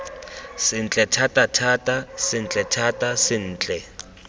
sentle thatathata sentle thata sentle